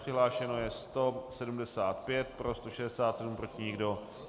Přihlášeno je 175, pro 167, proti nikdo.